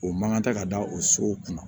O mankan ka da o sow kan